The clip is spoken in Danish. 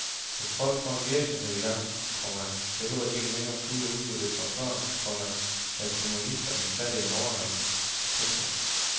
Hvis folk får en virksomhed i gang, komma behøver de ikke længere skjule udbyttet som før, komma da kommunisterne satte en overgrænse. punktum